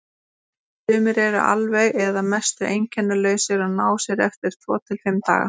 Sumir eru alveg eða að mestu einkennalausir og ná sér eftir tvo til fimm daga.